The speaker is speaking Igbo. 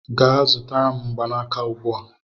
Gaa zụta mgbanaka ugbu a!